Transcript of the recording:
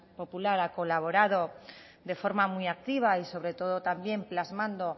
popular ha colaborado de forma muy activa y sobre todo también plasmando